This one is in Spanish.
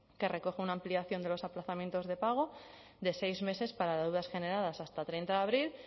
que recoge una ampliación de los aplazamientos de pago de seis meses para deudas generadas hasta treinta de abril